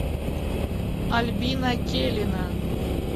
альбина келина